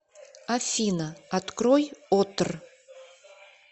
афина открой отр